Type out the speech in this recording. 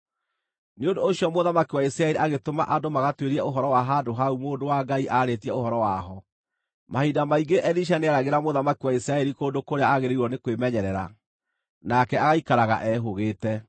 Nĩ ũndũ ũcio mũthamaki wa Isiraeli agĩtũma andũ magatuĩrie ũhoro wa handũ hau mũndũ wa Ngai aarĩtie ũhoro waho. Mahinda maingĩ Elisha nĩeragĩra mũthamaki wa Isiraeli kũndũ kũrĩa aagĩrĩirwo nĩ kwĩmenyerera, nake agaikaraga ehũũgĩte.